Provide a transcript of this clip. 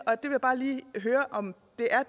jeg vil bare lige høre om